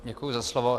Děkuji za slovo.